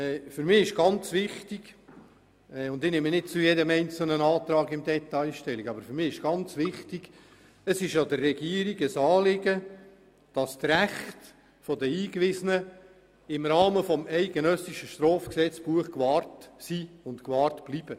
Ich nehme nicht zu jedem einzelnen Antrag im Detail Stellung, aber für mich ist es ganz wichtig und es ist der ganzen Regierung ein grosses Anliegen, dass die Rechte der Eingewiesenen im Rahmen des eidgenössischen Strafgesetzbuches gewahrt sind und gewahrt bleiben.